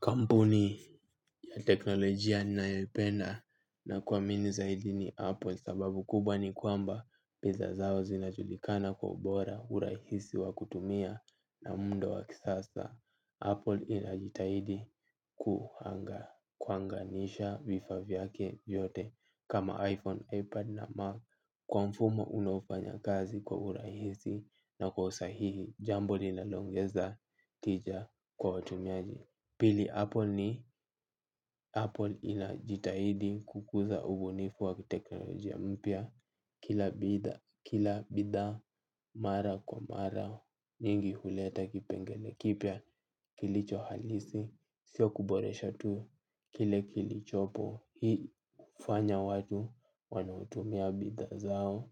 Kampuni ya teknolojia nayoipenda nakuamini zaidi ni Apple sababu kubwa ni kwamba piza zao zinajulikana kwa ubora urahisi wa kutumia na mundo wa kisasa. Apple inajitahidi kuhanga kwanganisha vifaa vyake vyote kama iPhone, iPad na Mac kwa mfumo unaofanya kazi kwa urahisi na kwa usahihi jambo lila longeza tija kwa watumiaji. Pili Apple ni Apple inajitahidi kukuza ubunifu wakiteknolojia mpya kila bidha kila bidhaa mara kwa mara nyingi huleta kipengele kipya kilicho halisi sio kuboresha tu kile kilichopo. Hii hufanya watu wanaotumia bidhaa zao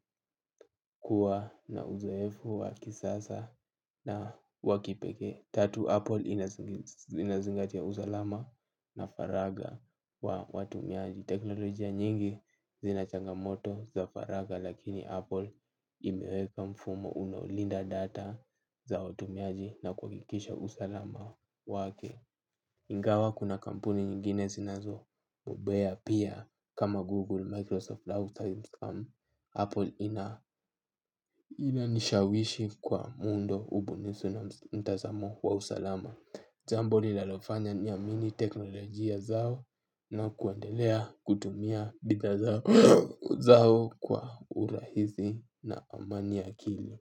kuwa na uzoefu wa kisasa na wakipekee. Tatu Apple inazingatia usalama na faraga wa watumiaji. Teknolojia nyingi zinachanga moto za faraga lakini Apple imeweka mfumo unaolinda data za watumiaji na kuhakikisha usalama wake. Ingawa kuna kampuni nyingine sinazo bobea pia kama Google, Microsoft, Microsoft, Apple ina ina nishawishi kwa muundo ubunisu na mtazamo wa usalama. Jambo nilalofanya niamini teknolojia zao na kundelea kutumia bidha zao kwa urahizi na amani ya akili.